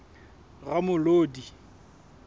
ramolodi